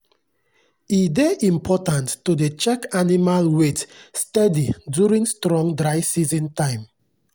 e dey important to dey check animal weight steady during strong dry season time.